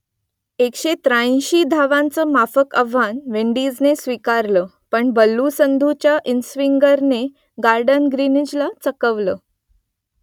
एकशे त्र्याऐंशी धावांचं माफक आव्हान विंडीजने स्वीकारलं पण बल्लू संधूच्या इनस्विंगरने गॉर्डन ग्रिनीजला चकवलं